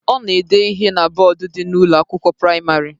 Ọ na-ede ihe na bọọdu dị n'Ụlọ akwụkwọ praịmarị